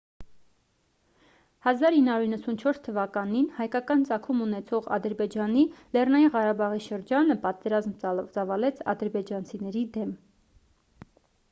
1994 թվականին հայկական ծագում ունեցող ադրբեջանի լեռնային ղարաբաղի շրջանը պատերազմ ծավալեց ադրբեջանցիների դեմ